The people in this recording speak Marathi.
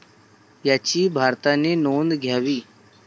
याची भारताने नोंद घ्यावी.